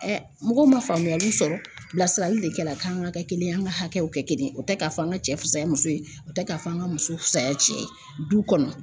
Ɛ mɔgɔw ma faamuyali sɔrɔ bilasirali le kɛla k'an ga kɛ kelen ye an ka hakɛw kɛ kelen ye o tɛ k'a fɔ an ka cɛ fusaya muso ye o tɛ k'a fɔ an ka muso fusaya cɛ ye duw kɔnɔ